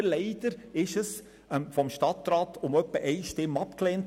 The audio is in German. Leider hat der Stadtrat diese Einführung mit etwa einer Stimme Unterschied abgelehnt.